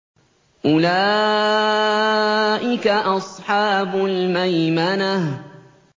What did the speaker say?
أُولَٰئِكَ أَصْحَابُ الْمَيْمَنَةِ